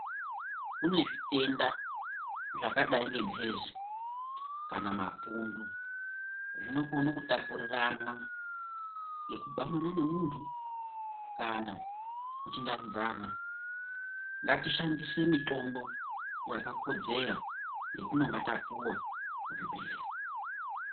Kune zvitenda zvakadai nemhezi kana mapundu zvinokona kutapurirwana nekudanana nemuntu Kana kuchingamidzana ngatiishandise mitombo yakakodzera yatinenge tapuwa kuzvibhedhlera.